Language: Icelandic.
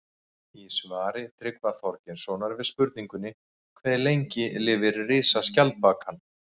Í svari Tryggva Þorgeirssonar við spurningunni Hve lengi lifir risaskjaldbakan?